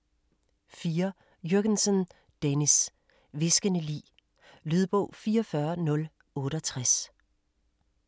4. Jürgensen, Dennis: Hviskende lig Lydbog 44068